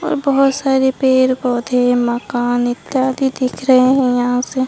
और बहोत सारे पेड़ पौधे मकान इत्यादि दिख रहे है यहां से--